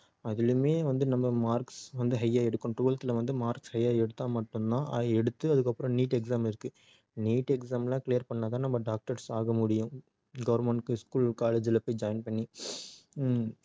ஹம் அதுலயுமே நம்ம வந்து marks வந்து high ஆ எடுக்கணும் tweveth வந்து mark high ஆ எடுத்தா மட்டும் தான் அஹ் எடுத்து அதுக்கப்புறம் NEET exam இருக்கு NEET exam லாம் clear பண்ணா தான் நம்ம doctors ஆக முடியும் government க்கு school college ல போய் join பண்ணி ஹம்